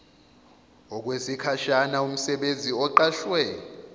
okwesikhashana umsebenzi oqashwe